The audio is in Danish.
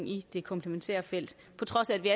i det komplementære felt på trods af at vi